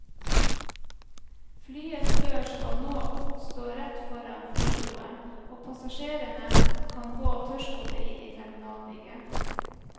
Flyets dør skal nå stå rett foran flybroen, og passasjerene kan gå tørrskodde inn i terminalbygget.